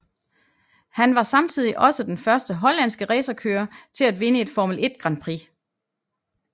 Han var samtidig også den første hollandske racerkører til at vinde et Formel 1 Grand Prix